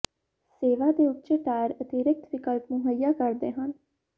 ਸੇਵਾ ਦੇ ਉੱਚੇ ਟਾਇਰ ਅਤਿਰਿਕਤ ਵਿਕਲਪ ਮੁਹੱਈਆ ਕਰਦੇ ਹਨ